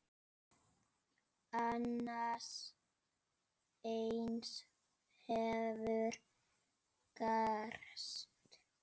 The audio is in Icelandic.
Annað eins hefur gerst.